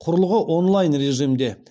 құрылғы онлайн режимде